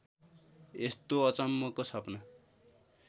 यस्तो अचम्मको सपना